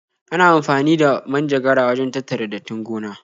Ana amfani da manjagara wajen tattara dattin gona.